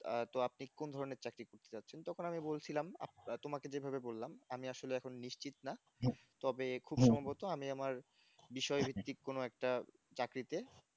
আহ তো আপনি কোন ধরনের চাকরি খুঁজতে চাইছেন তখন আমি বলছিলাম আঃ হা তোমাকে যেভাবে বললাম আমি আসলে এখন নিশ্চিত না তবে খুব সম্ভবত আমি আমার বিষয়ভিত্তিক কোন একটা চাকরিতে